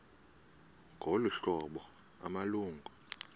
ngolu hlobo amalungu